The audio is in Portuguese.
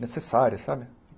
necessárias, sabe?